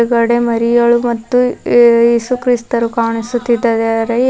ಕಡೆ ಮರಿಯಾಳು ಮತ್ತು ಯೇಸುಕ್ರಿಸ್ತರು ಕಾಣಿಸುತ್ತಿದ್ದಾರೆ.